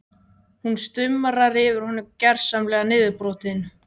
Hún stumrar yfir honum, gersamlega niðurbrotin.